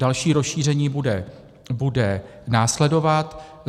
Další rozšíření bude následovat.